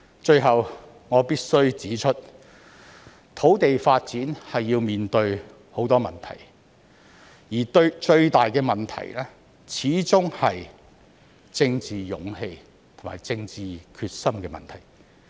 最後，我必須指出土地發展要面對很多問題，而最大的始終是政治勇氣和政治決心的問題。